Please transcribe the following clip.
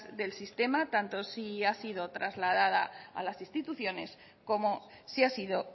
del sistema tanto si ha sido trasladada a las instituciones como si ha sido